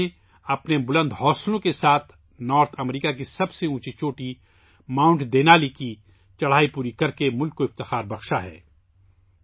پورنا نے اپنے بلند حوصلوں کے ساتھ شمالی امریکہ کی سب سے بلند چوٹھی 'ماؤنٹ دینالی' کی کوہ پیمائی مکمل کرکے ملک کا سر فخر سے بلند کیا ہے